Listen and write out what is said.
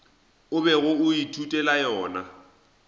o bego o ithutela yona